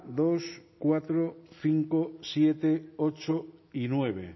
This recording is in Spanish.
dos cuatro cinco siete ocho y nueve